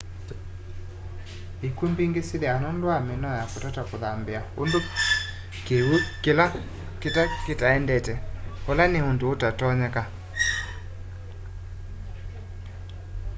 ikw'u mbingi syithiawa nundu wa minoo ya kutata kuthambia undu kiw'u kita endete ula nita undu utatonyeka